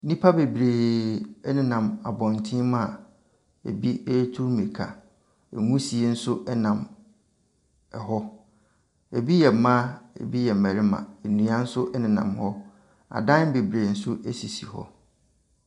Nnipa bebree ɛnenam abɔtene mu a ebi retu mmirika. Nwusie nso ɛnam ɛhɔ. Ebi yɛ mmaa na ebi yɛ mmarima. Nnua nso ɛnenam hɔ. Adan bebree nso ɛsisi hɔ.